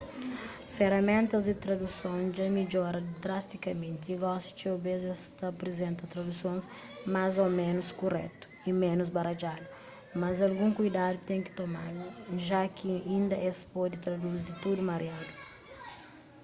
feraméntas di traduson dja midjora drastikamenti y gosi txeu bês es ta aprizenta tradusons más ô ménus kuretu y ménus baradjadu mas algun kuidadu ten ki tomadu ja ki inda es pode traduzi tudu mariadu